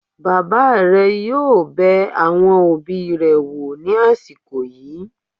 Bàbá rẹ̀ yóò bẹ àwọn òbí rẹ̀ wò ní àsìkò yìí